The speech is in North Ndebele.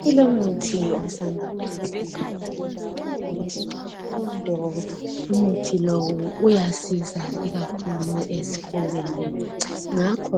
kulomuthi osanda ukuzuzakala ngezifundo umuthi lo uyasiza ikakhulu esifubeni ngakho